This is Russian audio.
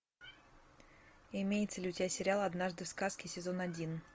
имеется ли у тебя сериал однажды в сказке сезон один